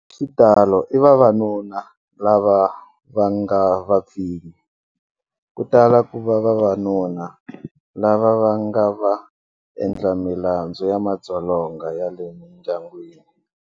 Hi xitalo i vavanuna lava nga vapfinyi. Ku tala ku va vavanuna lava va nga vaendlamilandzu ya madzolonga ya le mindyangwini.